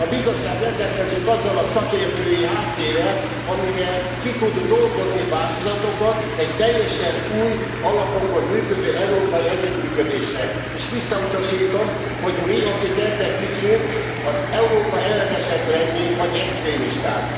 A Bizottság rendelkezik azzal a szakértői háttérrel, amivel ki tud dolgozni változatokat egy teljesen új alapokon működő európai együttműködésre. És visszautasítom, hogy mi, akik ebben hiszünk, Európa ellenesek lennénk vagy extremisták.